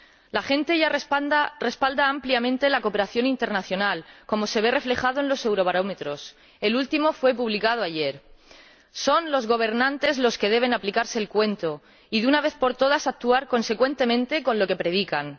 La gente ya respalda ampliamente la cooperación internacional, como se refleja en los eurobarómetros —el último fue publicado ayer—. Son los gobernantes los que deben aplicarse el cuento y, de una vez por todas, actuar consecuentemente con lo que predican.